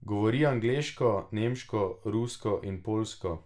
Govori angleško, nemško, rusko in poljsko.